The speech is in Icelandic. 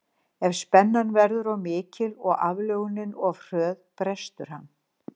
Ef spennan verður of mikil og aflögunin of hröð brestur hann.